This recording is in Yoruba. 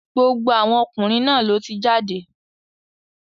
Gbogbo àwọn ọkùnrin náà ló ti jáde.